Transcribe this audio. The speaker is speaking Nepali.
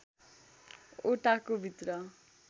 ओटाको भित्र